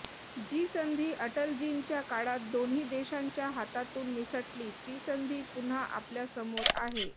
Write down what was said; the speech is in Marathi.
जी संधी अटलजींच्या काळात दोन्ही देशांच्या हातातून निसटली ती संधी पुन्हा आपल्यासमोर आहे